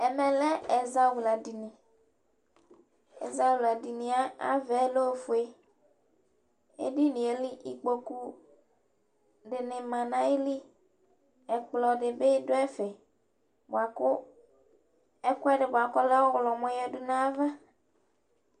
Ɛmɛ lɛ ɛzawladini Ɛzawladini yɛ ava yɛ lɛ ofue Edini yɛ li ikpoku dɩnɩ ma nʋ ayili Ɛkplɔ dɩ bɩ dʋ ɛfɛ bʋa kʋ ɛkʋɛdɩ bʋa kʋ ɔlɛ ɔɣlɔmɔ yǝdu nʋ ayava